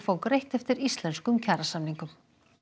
fá greitt eftir íslenskum kjarasamningum